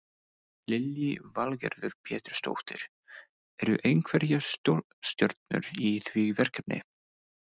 Lillý Valgerður Pétursdóttir: Eru einhverjar stórstjörnur í því verkefni?